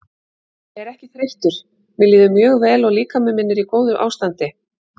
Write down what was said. Ég er ekki þreyttur mér líður mjög vel og líkami minn er í góðu ástandi.